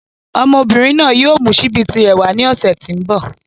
Ọmọbìnrin náà yóò mú síbí tirẹ̀ wàá ni ọ̀sẹ̀ tí ń bọ̀.